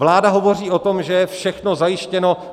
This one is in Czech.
Vláda hovoří o tom, že je všechno zajištěno.